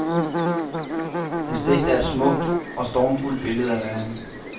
Hans digt er et smukt og formfuldendt billede af verden.